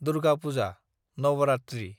Durga Puja (Navratri)